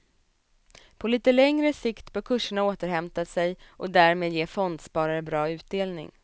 På lite längre sikt bör kurserna återhämta sig och därmed ge fondsparare bra utdelning.